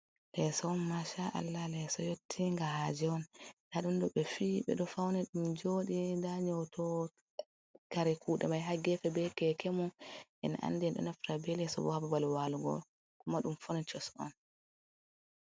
Leeso masha allah leso yotti nga haje on, nda ɗum ɗo ɓe fiyi ɓeɗo fauni ɗum joɗi, nda nyotowo kare kuɗe mai hagefe be keke mum, en andi en ɗo nafta be leso bo hababal walugo on, kuma ɗum fonicos on.